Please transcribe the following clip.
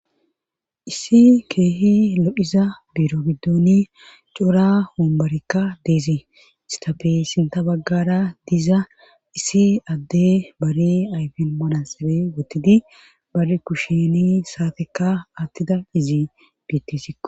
Issi keehi lo'iza biro biddoni cora hombarekka deezi istafe sinta baggara diza issi adde bari ayfin manasabe wotidi bar kushini saateka attida izi betisiko.